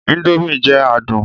Indomie jẹ adun